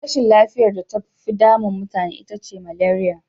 Rashin lafiyar da tafi damu mutane ita ce maleriya.